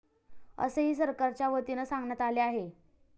असेही सरकारच्या वतीनं सांगण्यात आले आहेत.